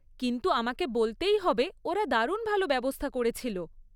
কিন্তু, আমাকে বলতেই হবে, ওরা দারুণ ভালো ব্যবস্থা করেছিল।